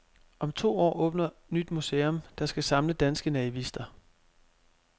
Om to år åbner nyt museum, der skal samle danske naivister.